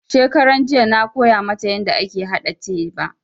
Shekaranjiya na koya mata yanda ake haɗa teba